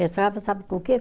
sabe com o quê?